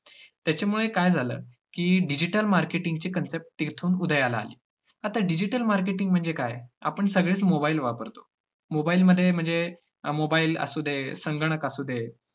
त्याच्यामुळे काय झालं की digital marketing ची concept तिथून उदयाला आली. आता digital marketing म्हणजे काय, आपण सगळेच mobile वापरतो. mobile मध्ये म्हणजे mobile असुदे, संगणक असुदे